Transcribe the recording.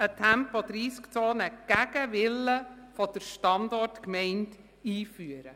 – eine Tempo-30-Zone gegen den Willen der Standortgemeinde einführen.